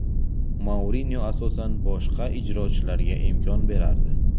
Mourinyo asosan boshqa ijrochilarga imkon berardi.